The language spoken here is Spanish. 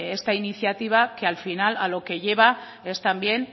esta iniciativa que al final a lo que lleva es también